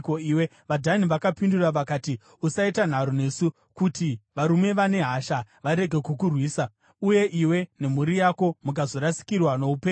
VaDhani vakapindura vakati, “Usaita nharo nesu, kuti varume vane hasha varege kukurwisa, uye iwe nemhuri yako mukazorasikirwa noupenyu hwenyu.”